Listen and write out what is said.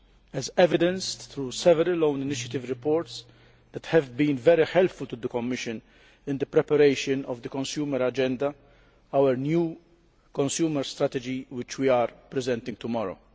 This is evidenced in several own initiative reports that have been very helpful to the Commission in the preparation of the Consumer Agenda our new consumer strategy which we are presenting tomorrow.